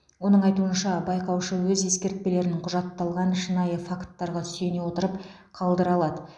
оның айтуынша байқаушы өз ескертпелерін құжатталған шынайы факттарға сүйене отырып қалдыра алады